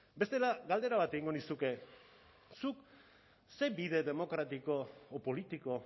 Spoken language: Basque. bestela galdera bat egingo nizuke zuk ze bide demokratiko o politiko